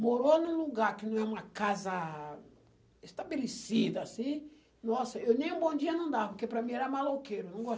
Morou num lugar que não é uma casa estabelecida assim, nossa, eu nem um bom dia não dava, porque para mim era maloqueiro. Não